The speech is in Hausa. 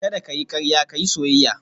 Kada ka yi karya ka yi soyayya